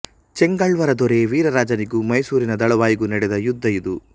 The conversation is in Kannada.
ಚೆಂಗಾಳ್ವರ ದೊರೆ ವೀರರಾಜನಿಗೂ ಮೈಸೂರಿನ ದಳವಾಯಿಗೂ ನಡೆದ ಯುದ್ಧ ಇದು